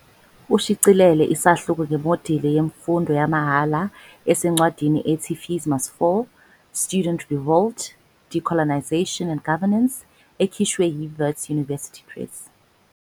Ushicilele isahluko ngemodeli yemfundo yamahhala esencwadini ethi Fees Must Fall- Student Revolt, Decolonization and Governance, ekhishwe yiWits University Press.